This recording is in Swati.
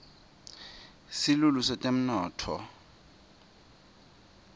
silulu setemnotfo